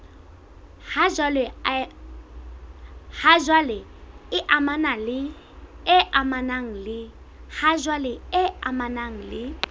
ha jwale e amanang le